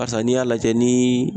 Barisa n'i y'a lajɛ nii